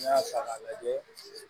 N'i y'a ta k'a lajɛ